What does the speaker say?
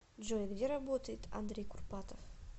джой где работает андрей курпатов